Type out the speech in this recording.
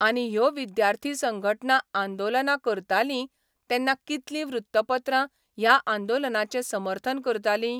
आनी ह्यो विद्यार्थी संघटना आंदोलनां करतालीं तेन्ना कितलीं वृत्तपत्रां ह्या आंदोलनांचें समर्थन करतालीं?